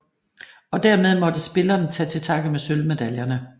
Og dermed måtte spillerne tage til takke med sølvmedaljerne